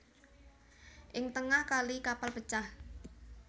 Ing tengah kali kapal pecah